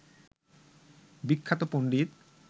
বিখ্যাত পন্ডিত